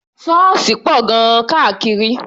Ṣọ́ọ̀ṣì pọ̀ gan-an káàkiri.